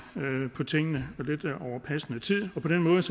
tingene over passende tid på den måde